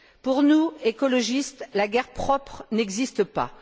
Pour nous, écologistes, la guerre propre n'existe pas.